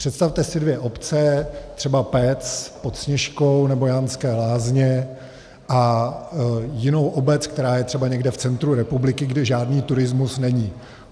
Představte si dvě obce, třeba Pec pod Sněžkou nebo Janské Lázně, a jinou obec, která je třeba někde v centru republiky, kde žádný turismus není.